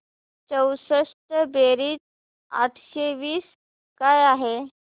चौसष्ट बेरीज आठशे वीस काय आहे